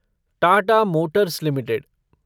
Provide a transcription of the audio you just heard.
Tata motors limited